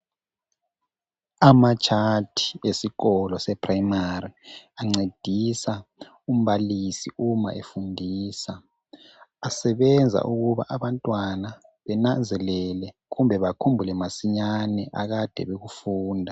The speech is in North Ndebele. Ama"chart" esikolo sephuremari ancedisa umbalisi uma efundisa. Asebenza ukuba abantwana benanzelele kumbe bakhumbule masinyane akade bekufunda.